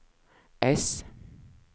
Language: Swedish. S